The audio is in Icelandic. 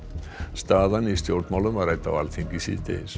staðan í stjórnmálum var rædd á Alþingi síðdegis